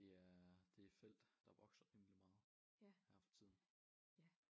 Det er det et felt der vokser rimelig meget her for tiden